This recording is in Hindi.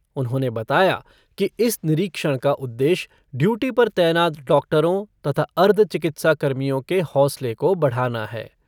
उन्होंने बताया कि इस निरीक्षण का उद्देश्य ड्यूटी पर तैनात डॉक्टरों तथा अर्ध चिकित्सा कर्मियों के हौसले को बढ़ाना है।